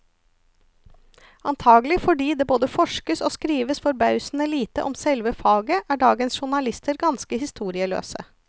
Antagelig fordi det både forskes og skrives forbausende lite om selve faget, er dagens journalister ganske historieløse.